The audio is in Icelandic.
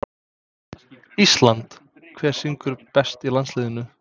ÍSLAND Hver syngur best í landsliðinu?